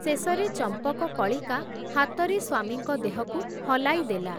ଶେଷରେ ଚମ୍ପକକଳିକା, ହାତରେ ସ୍ଵାମୀଙ୍କ ଦେହକୁ ହଲାଇ ଦେଲା ।